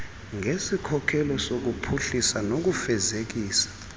ngesikhokelo sokuphuhlisa nokufezekisa